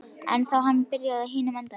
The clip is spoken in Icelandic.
Eða þá hann byrjaði á hinum endanum.